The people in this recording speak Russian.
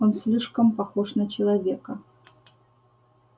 он слишком похож на человека